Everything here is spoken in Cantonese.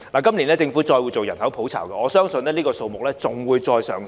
今年政府會再進行人口普查，我相信相關數字會持續上升。